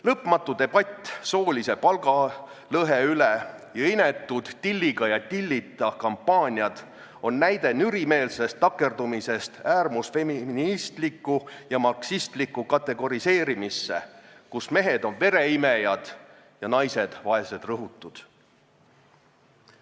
Lõpmatu debatt soolise palgalõhe üle ning inetud "Tilliga ja tillita" kampaaniad on näide nürimeelsest takerdumisest äärmusfeministlikku ja marksistlikku kategoriseerimisse, kus mehed on vereimejad ja naised vaesed rõhutud.